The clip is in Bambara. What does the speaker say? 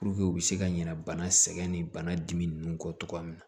u bɛ se ka ɲina bana sɛgɛn nin bana dimi nunnu kɔ togoya min na